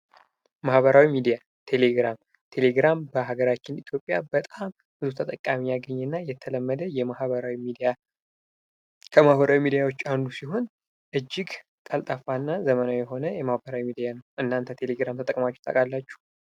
ማህበራዊ ሚዲያ ቴሌግራም በሀገራችን ኢትዮጵያ በጣም ብዙ ተጠቃሚ ያገኘና የተለመደ ከማህበራዊ ሚዲያዎች አንዱ ሲሆን እጅግ ቀልጣፋና ዘመናዊ የሆነ የማህበራዊ ሚዲያ ነው። እናተ ቴሌግራም ተጠቅማችሁ ታውቃላቺሁ?